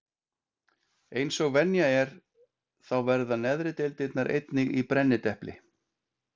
Eins og venja er þá verða neðri deildirnar einnig í brennidepli.